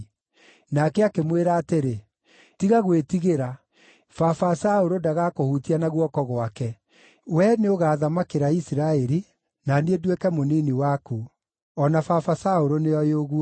Nake akĩmwĩra atĩrĩ, “Tiga gwĩtigĩra, Baba Saũlũ ndagakũhutia na guoko gwake. Wee nĩũgathamakĩra Isiraeli, na niĩ nduĩke mũnini waku. O na Baba Saũlũ, nĩoĩ ũguo.”